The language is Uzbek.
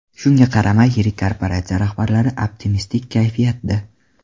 Shunga qaramay, yirik korporatsiya rahbarlari optimistik kayfiyatda.